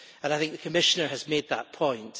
I think the Commissioner has made that point.